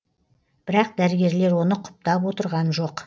бірақ дәрігерлер оны құптап отырған жоқ